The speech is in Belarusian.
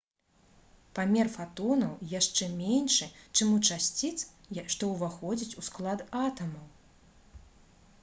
памер фатонаў яшчэ меншы чым у часціц што ўваходзяць у склад атамаў